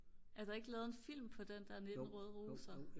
er der ikke lavet en film på den der 19 røde roser?